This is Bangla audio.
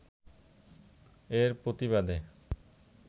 এর প্রতিবাদে